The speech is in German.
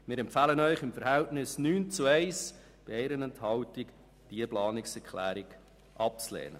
Wir empfehlen Ihnen im Verhältnis von 9 NeinStimmen zu 1 Ja-Stimme bei einer Enthaltung, diese Planungserklärung abzulehnen.